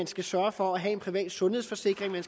skal sørge for at have en privat sundhedsforsikring og